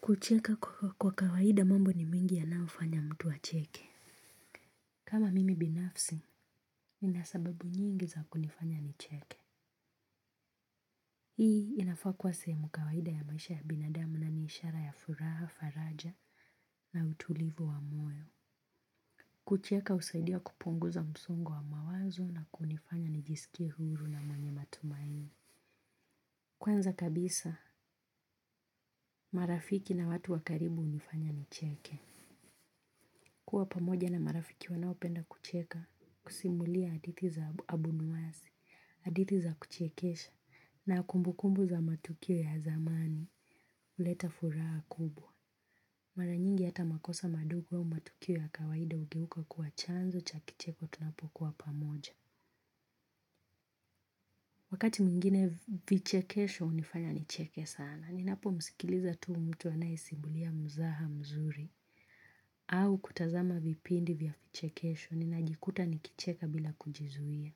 Kucheka kwa kawaida mambo ni mengi yanayofanya mtu acheke. Kama mimi binafsi nina sababu nyingi za kunifanya nicheke. Hii inafaa kuwa sehemu kawaida ya maisha ya binadamu na ni ishara ya furaha, faraja na utulivu wa moyo. Kucheka husaidia kupunguza msongo wa mawazo na kunifanya nijisikie huru na mwenye matumaini. Kwanza kabisa, marafiki na watu wa karibu hunifanya ni cheke. Kuwa pamoja na marafiki wanaopenda kucheka kusimulia hadithi za abunwasi, hadithi za kuchekesha na kumbukumbu za matukio ya zamani huleta furaha kubwa. Mara nyingi hata makosa madogo wa matukio ya kawaida hugeuka kuwa chanzo cha kicheko tunapokuwa pamoja. Wakati mwingine vichekesho hunifanya nicheke sana. Ninapo msikiliza tu mtu anayesimulia mzaha mzuri. Au kutazama vipindi vya vichekesho ninajikuta nikicheka bila kujizuia.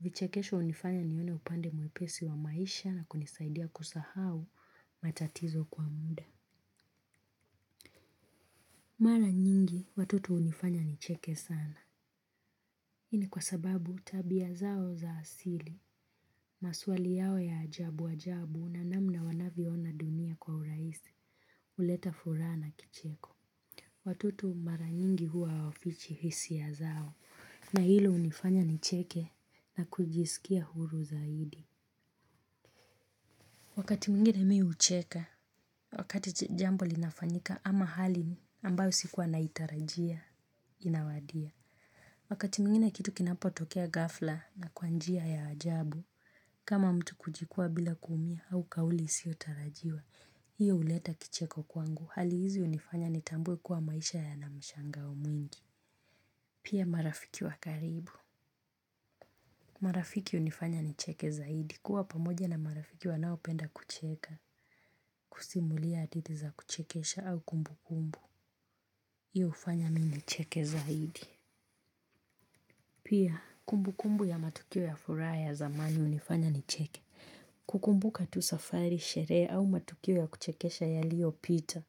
Vichekesho hunifanya nione upande mwepesi wa maisha na kunisaidia kusahau matatizo kwa muda. Mara nyingi watoto hunifanya nicheke sana hii ni kwa sababu tabia zao za asili, maswali yao ya ajabu ajabu na namna wanavyo ona dunia kwa urahisi huleta furaha na kicheko. Watoto mara nyingi huwa hawafichi hisia zao na hilo hunifanya nicheke na kujiskia huru zaidi. Wakati mingine mimi hucheka wakati jambo linafanyika ama hali ambayo sikuwa naitarajia inawadia. Wakati mwingine kitu kinapo tokea ghafla na kwa njia ya ajabu kama mtu kujikua bila kuumia au kauli isiyo tarajiwa. Hiyo huleta kicheko kwangu. Hali hizi hunifanya nitambue kuwa maisha yana mshangao mwingi. Pia marafiki wa karibu marafiki hunifanya nicheke zaidi kuwa pamoja na marafiki wanaopenda kucheka kusimulia hadithi za kuchekesha au kumbu kumbu hiyo hufanya mimi nicheke zaidi. Pia kumbukumbu ya matukio ya furaha ya zamani hunifanya nicheke. Kukumbuka tu safari, sherehe au matukio ya kuchekesha yaliyo pita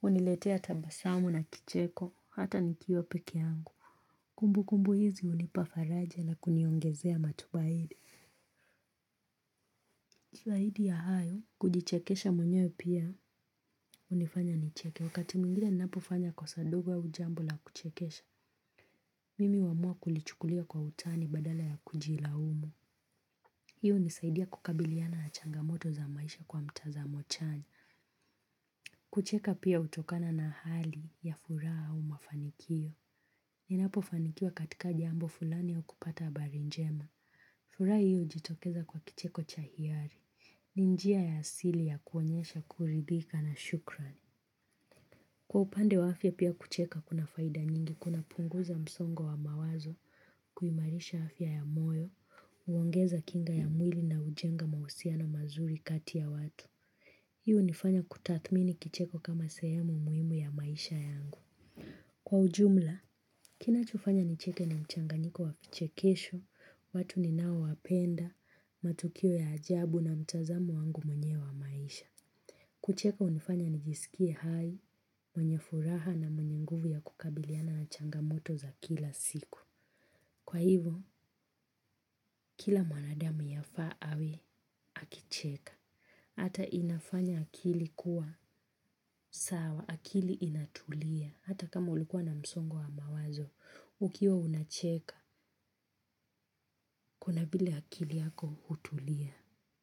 huniletea tabasamu na kicheko hata nikiwa peke yangu. Kumbu kumbu hizi hunipa faraje la kuniongezea matumaini zaidi ya hayo, kujichekesha mwenye pia hunifanya nicheke. Wakati mwingine ninapo fanya kosa doga au jambo la kuchekesha mimi huamua kulichukulia kwa utani badala ya kujilaumu. Hii hunisaidia kukabiliana na changamoto za maisha kwa mtazamo chanya. Kucheka pia hutokana na hali ya furaha au mafanikio. Ninapo fanikiwa katika jambo fulani ya kupata habari njema. Furaha hiyo hujitokeza kwa kicheko cha hiari. Ni njia ya asili ya kuonyesha kuridhika na shukrani. Kwa upande wake pia kucheka kuna faida nyingi kuna kupunguza msongo wa mawazo kuimarisha afya ya moyo kuongeza kinga ya mwili na kujenga uhusiano mazuri kati ya watu hii hunifanya kutathmini kicheko kama sehemu muhimu ya maisha yangu. Kwa ujumla, kinachofanya nicheke ni mchanganyiko wa chekesho, watu ninao wapenda, matukio ya ajabu na mtazamo wangu mwenye wa maisha. Kucheka hunifanya nijiskie hai, mwenye furaha na mwenye nguvu ya kukabiliana na changamoto za kila siku. Kwa hivo, kila mwanadamu yafaa awe akicheka. Hata inafanya akili kuwa sawa. Akili inatulia. Hata kama ulikuwa na msongo wa mawazo, ukiwa unacheka, kuna vile akili yako hutulia.